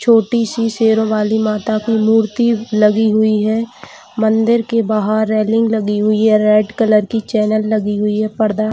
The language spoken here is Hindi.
छोटी सी शेरों वाली माता की मूर्ति लगी हुई है मंदिर की बाहर रेलिंग लगी हुई है रेड कलर की चैनल लगी हुई है पर्दा--